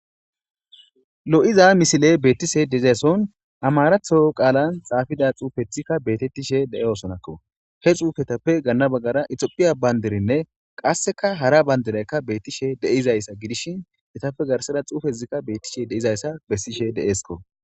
Lo'iza misile beettishe diza son amaratho qaalan xaafida xuufethikka beetettishe de'osonakko. He xuufetappe ganna baggara itophiya bayndirinne qassika hara bayndireka bettishe diza issa gidishin etappe garsara xuufezikka bettishe diza issa bessishe deesko.